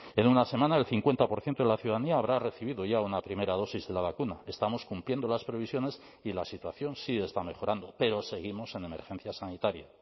en una semana el cincuenta por ciento de la ciudadanía habrá recibido ya una primera dosis de la vacuna estamos cumpliendo las previsiones y la situación sí está mejorando pero seguimos en emergencia sanitaria